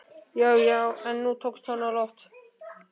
Já, já, nú tókst hann á loft!